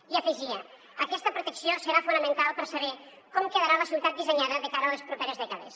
i hi afegia aquesta protecció serà fonamental per saber com quedarà la ciutat dissenyada de cara a les properes dècades